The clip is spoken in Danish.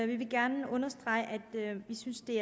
vi gerne understrege at vi synes det